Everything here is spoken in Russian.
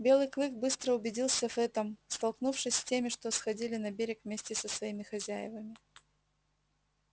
белый клык быстро убедился в этом столкнувшись с теми что сходили на берег вместе со своими хозяевами